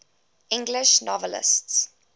english novelists